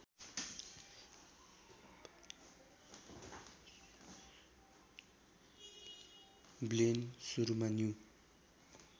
ब्लेन सुरुमा न्यु